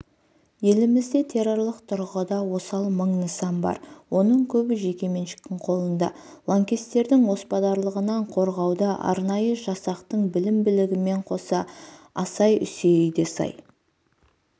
елімізде террорлық тұрғыда осал мың нысан бар оның көбі жекеменшіктің қолында лаңкестердің оспадарлығынан қорғауда арнайы жасақтың білім-білігімен қоса асай-мүсейі де сай